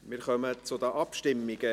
Wir kommen zu den Abstimmungen.